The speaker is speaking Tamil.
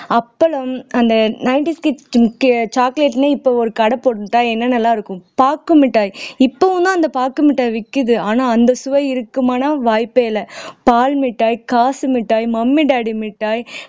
அப்பளம் அந்த nineties kids க்கு chocolate ன்னு இப்ப ஒரு கடை போட்டிருந்தா என்னென்னலாம் இருக்கும் பாக்கு மிட்டாய் இப்பவும் தான் அந்த பாக்கு மிட்டாய் விக்குது ஆனா அந்த சுவை இருக்குமான்னா வாய்ப்பே இல்லை பால் மிட்டாய் காசு மிட்டாய் mummy daddy மிட்டாய்